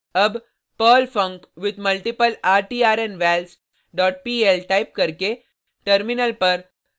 अब perl funcwithmultiplertrnvals dot pl type करके terminal पर